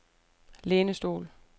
lænestol